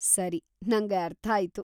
ಸರಿ, ನಂಗೆ ಅರ್ಥಾಯ್ತು.